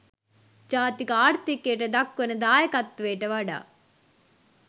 ජාතික ආර්ථිකයට දක්වන දායකත්වයට වඩා